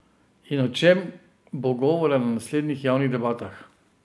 In o čem bo govora na naslednjih javnih debatah?